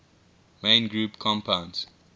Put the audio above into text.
main group compounds